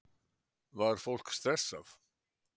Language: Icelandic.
Var fólk stressað?